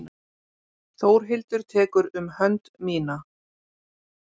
Þórhildur tekur um hönd mína.